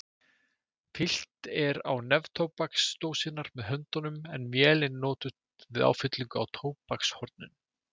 Fyllt er á neftóbaksdósirnar með höndunum en vél er notuð við áfyllingu á tóbakshornin.